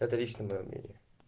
это лично моё мнение